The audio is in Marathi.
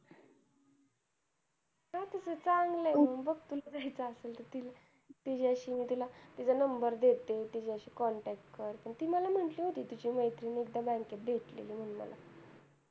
तस चांगलं आहे बग तुला जायचं असेल तर तिला तिच्याशी मी तिला तिचं number देते, तिच्याशी contact कर पण ती मला म्हंटली होती तशी तुझी मैत्रीण एकदा bank त भेटलेली म्हणून मला